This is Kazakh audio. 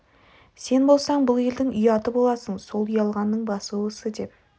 сен болсаң бұл елдің ұяты боласың сол ұялғанның басы осы деп